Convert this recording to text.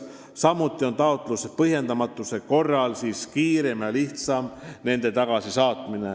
Samuti saab taotluse põhjendamatuse korral inimesi kiiremini ja lihtsamalt tagasi saata.